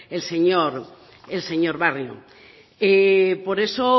el señor barrio por eso